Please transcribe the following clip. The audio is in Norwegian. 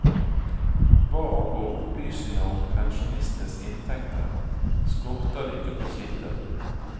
Hva angår opplysninger om pensjonistenes inntekter, skorter det ikke på kilder.